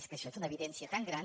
és que això és una evidència tan gran